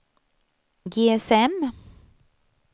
GSM